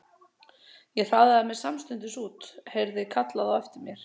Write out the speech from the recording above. Ég hraðaði mér samstundis út og heyrði kallað á eftir mér.